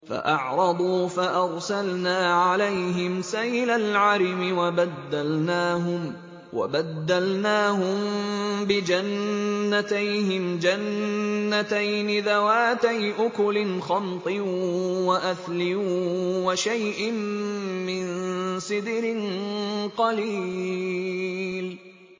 فَأَعْرَضُوا فَأَرْسَلْنَا عَلَيْهِمْ سَيْلَ الْعَرِمِ وَبَدَّلْنَاهُم بِجَنَّتَيْهِمْ جَنَّتَيْنِ ذَوَاتَيْ أُكُلٍ خَمْطٍ وَأَثْلٍ وَشَيْءٍ مِّن سِدْرٍ قَلِيلٍ